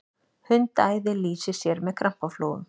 hundaæði lýsir sér með krampaflogum